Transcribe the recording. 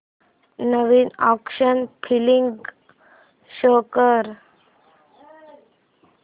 नवीन action flick show कर